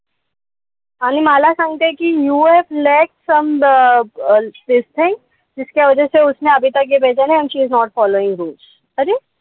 आणि मला सांगते कि you have let some this thing and she is not following rules अरे,